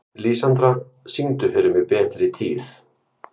Lísandra, syngdu fyrir mig „Betri tíð“.